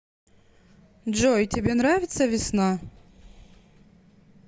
джой тебе нравится весна